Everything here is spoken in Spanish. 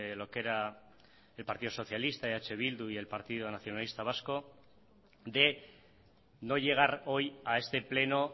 lo que era el partido socialista eh bildu y el partido nacionalista vasco de no llegar hoy a este pleno